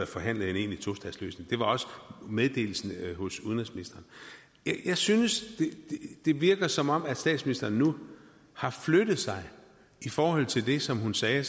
forhandlet en egentlig tostatsløsning det var også meddelelsen hos udenrigsministeren jeg synes at det virker som om statsministeren nu har flyttet sig i forhold til det som hun sagde